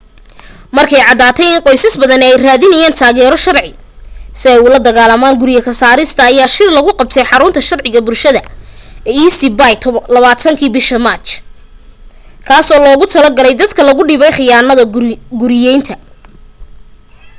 markay caddaatay in qoysas badani ay raadinayaan taageero sharci si ay ula dagaalaan guryo ka saarista ayaa shir lagu qabtay xarunta sharciga bulshada ee east bay 20kii bisha maaj kaasoo loogu talo galay dadka lagu dhibay khiyaanada guriyaynta